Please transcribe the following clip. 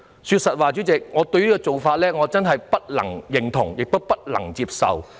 對於這種做法，我真的不能認同也不能接受。